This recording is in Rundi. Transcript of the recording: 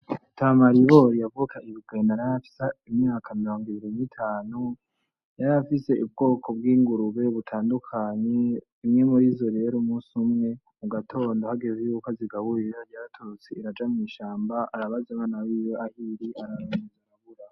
Mutama Ribori yavukaga ibugendana yarafise imyaka mringwibiri n'itanu yarafise ubwoko bw'ingurube butandukanye imwe murizo umunsi umwe mugatondo hagezeko yuko azigaburira yaratorotse iraja mw'ishamba arabaza abana biwe ahiri arabura.